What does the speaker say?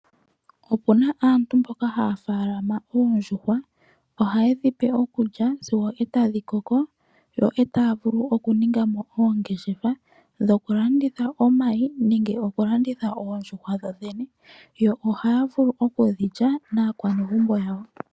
Opuna aantu mboka haya faalama oondjuhwa, haye dhipe okulya sigo etadhi koko yo otaavulu okuningamo oongeshefa dhoku landitha omayi nenge okulanditha oondjuhwa dhodhene yo ohaya vulu okudhilya naakwanezimo yawo.